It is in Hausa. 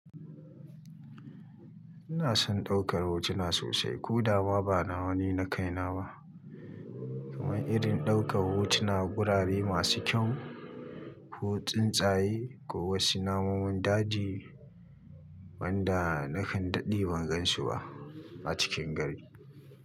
Ina son ɗaukar hotuna sosai ko da ba na wani na kai na ba, kamar irin ɗaukar hotunan gurare masu kyau, ko tsun tsaye ko wasu namomin daji wanda nakan daɗe ban gansu ba a cikin gari.